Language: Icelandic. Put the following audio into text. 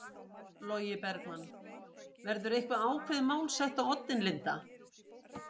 Logi Bergmann: Verður eitthvað ákveðið mál sett á oddinn Linda?